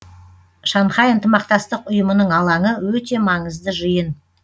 шанхай ынтымақтастық ұйымының алаңы өте маңызды жиын